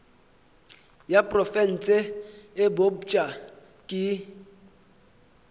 ya profense e bopša ke